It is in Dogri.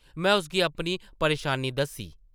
में उसगी अपनी परेशानी दस्सी ।